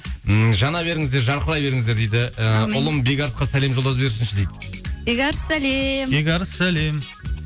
м жана беріңіздер жарқырай беріңіздер дейді ыыы ұлым бекарысқа сәлем жолдап жіберсінші дейді бекарыс сәлем бекарыс сәлем